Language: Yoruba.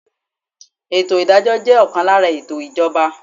Ètò ìdájọ́ jẹ́ ọ̀kan lára ètò ìjọba.